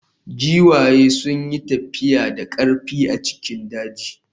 Giwaye sun yi tafiya da ƙarfi a cikin daji.